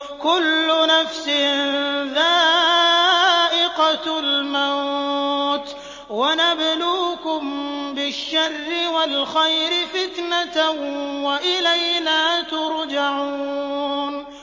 كُلُّ نَفْسٍ ذَائِقَةُ الْمَوْتِ ۗ وَنَبْلُوكُم بِالشَّرِّ وَالْخَيْرِ فِتْنَةً ۖ وَإِلَيْنَا تُرْجَعُونَ